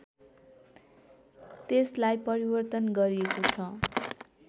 त्यसलाई परिवर्तन गरिएको छ